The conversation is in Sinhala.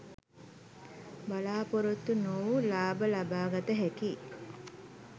බලා‍පොරොත්තු නොවූ ලාභ ලබාගත හැකි